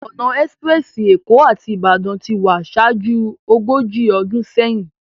Òná èspirèsi Ékó áti Ibadan ti wá ṣájú ógóji ódún séyin